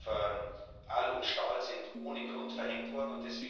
Die Zölle auf Aluminium und Stahl sind ohne Grund verhängt worden.